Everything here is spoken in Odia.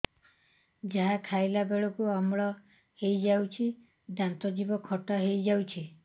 ଯାହା ଖାଇଲା ବେଳକୁ ଅମ୍ଳ ହେଇଯାଉଛି ଦାନ୍ତ ଜିଭ ଖଟା ହେଇଯାଉଛି